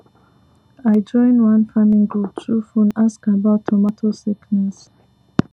i join one farming group through phone ask about tomato sickness